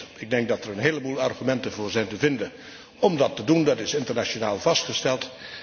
2. Ik denk dat er een heleboel argumenten voor zijn te vinden om dat te doen, dat is internationaal vastgesteld.